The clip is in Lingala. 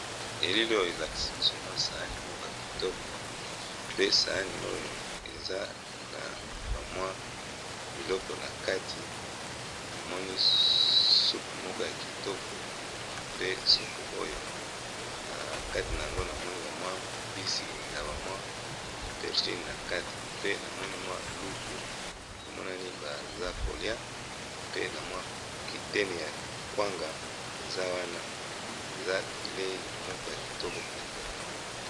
Elili oyo elakisi biso mwa sani moko ya kitoko pe sani oyo eza na ba mwa biloko na kati namoni supu moko ya kitoko pe supu oyo na kati na yango na moni ba mwa mbisi na ba mwa aubergine na kati pe na moni mwa lutu emonani baza kolia pe na mwa kiteni ya kwanga eza wana eza bileyi moko ya kitoko penza